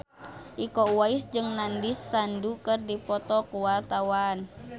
Iko Uwais jeung Nandish Sandhu keur dipoto ku wartawan